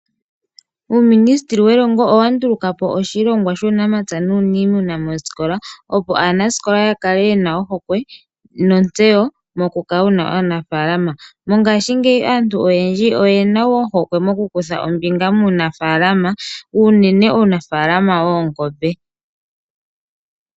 UUminisiteli welongo owa nduluka po oshilongwa shuunamapya nuuniimuna moosikola, opo aanasikola ya kale yena ohokwe nontseyo moku kala wuna aanafaalama. Mongaashingeyi aantu oyendji oyena ohokwe moku kutha ombinga muunafaalama, unene uunafaalama woongombe.